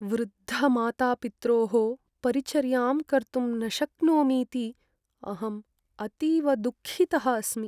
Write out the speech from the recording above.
वृद्धमातापित्रोः परिचर्यां कर्तुं न शक्नोमीति अहम् अतीव दुःखितः अस्मि।